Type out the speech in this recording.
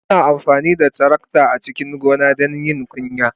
Ana amfani da tarakta a cikin gona don yin kunya.